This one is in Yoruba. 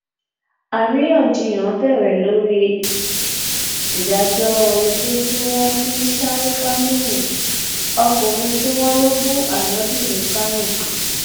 àríyànjiyàn bẹrẹ lórí ìdájọ ikú tí wọn fún sharifaminu ọkùnrin tí wọn lọ bú anabi ní kánò